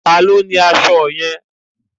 Ta ni ó ni aṣọ yẹn?